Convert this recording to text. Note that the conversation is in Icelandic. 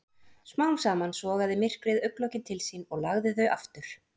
Smám saman sogaði myrkrið augnlokin til sín og lagði þau aftur.